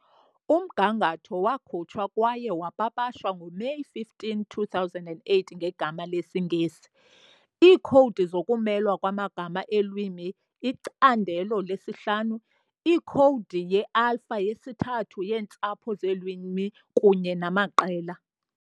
Umgangatho wakhutshwa kwaye wapapashwa ngoMeyi 15, 2008 ngegama lesiNgesi- "Iikhowudi zokumelwa kwamagama eelwimi- Icandelo lesi-5- Ikhowudi ye-Alpha-3 yeentsapho zeelwimi kunye namaqela"